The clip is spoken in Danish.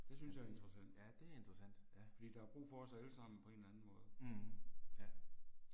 Men det, ja det er interessant, ja. Mh, ja